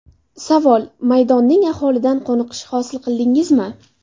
Savol: Maydonning ahvolidan qoniqish hosil qildingizmi?